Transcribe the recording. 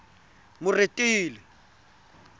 moretele